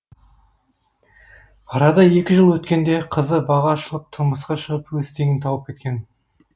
арада екі жыл өткенде қызы бағы ашылып тұрмысқа шығып өз теңін тауып кеткен